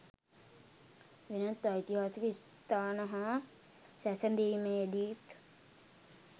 වෙනත් ඓතිහාසික ස්ථාන හා සැසඳීමේදීත්